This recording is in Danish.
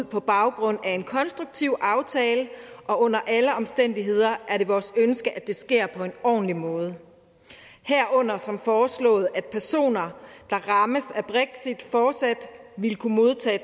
på baggrund af en konstruktiv aftale og under alle omstændigheder er det vores ønske at det sker på en ordentlig måde herunder som foreslået at personer der rammes af brexit fortsat vil kunne modtage